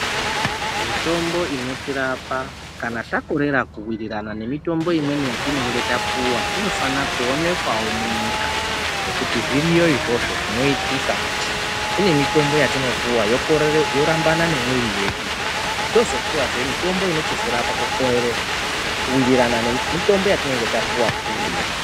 Mitombo inotirapa kana takorera kuwirirana nemitombo imweni yatinenge tapuwa inofanira kuonekwawo munyika, nekuti zviriyo izvozvo zvinoitika kuti kune mitombo yatinopuwa yorambana nemuviri wedu tochizopuwazve mitombo ino chizorapa kukorere kuwirirana nemutombo watapuwa uya.